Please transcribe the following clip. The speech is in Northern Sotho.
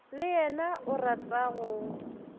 le yena o rata go